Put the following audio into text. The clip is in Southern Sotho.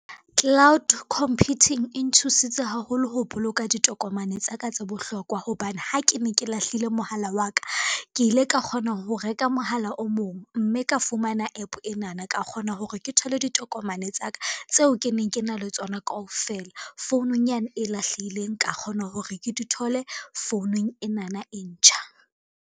Cloud computing e nthusitse haholo ho boloka ditokomane tsa ka tse bohlokwa hobane ha ke ne ke lahlile mohala wa ka, ke ile ka kgona ho reka mohala o mong mme ka fumana app enana ka kgona hore ke thole ditokomane tsa ka tseo ke neng ke na le tsona kaofela, founung yane e lahlehileng ka kgona hore ke di thole founung enana e ntjha.